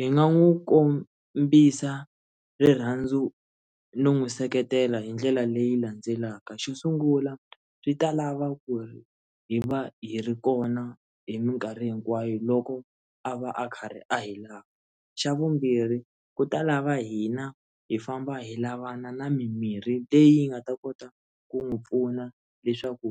Hi nga n'wi kombisa rirhandzu no n'wi seketela hi ndlela leyi landzelaka, xo sungula swi ta lava ku ri hi va hi ri kona hi mikarhi hinkwayo loko a va a karhi a hi lava, xa vumbirhi ku ta lava hina hi famba hi lavana na mimirhi leyi nga ta kota ku n'wi pfuna leswaku